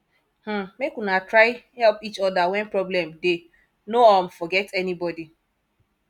um make una try help each oda wen problem dey no um forget anybodi